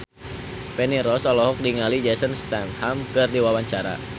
Feni Rose olohok ningali Jason Statham keur diwawancara